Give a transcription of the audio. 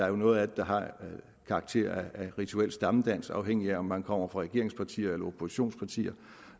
er noget af det der har karakter af rituel stammedans afhængigt af om man kommer fra regeringspartierne eller oppositionspartierne